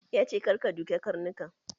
Ya ce "Kar ka duke Karnukan"!